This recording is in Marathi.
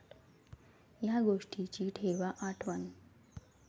या गोष्टींची ठेवा आठवण